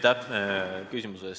Aitäh küsimuse eest!